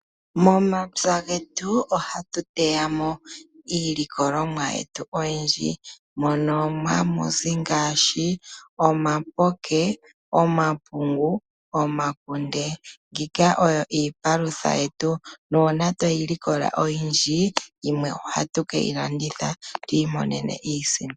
Momapya getu ohatu teya mo iilikolomwa yetu oyindji, mono hamu zi ngaashi, omapoke, omapungu, omakunde. Mbika oyo iipalutha yetu, nuuna tweyi likola oyindji, yimwe ohatu keyi landitha, opo twiimonene iisimpo.